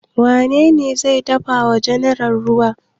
Wane ne zai dafa wa general ruwa?